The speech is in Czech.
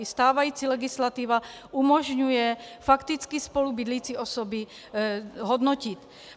I stávající legislativa umožňuje fakticky spolubydlící osoby hodnotit.